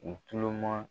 U tulo ma